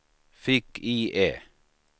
fick-IE